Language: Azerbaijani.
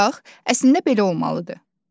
Bax, əslində belə olmalıdır.